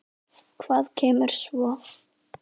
Hvað kemur svo?